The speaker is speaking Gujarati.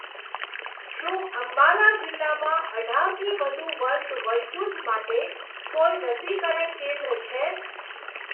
શું અંબાલા જિલ્લામાં અઢારથી વધુ વર્ષ વયજૂથ માટે કોઈ રસીકરણ કેન્દ્ર છે?